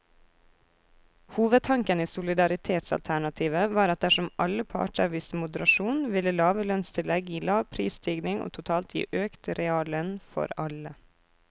Hovedtanken i solidaritetsalternativet var at dersom alle parter viste moderasjon, ville lave lønnstillegg gi lav prisstigning og totalt gi økt reallønn for alle.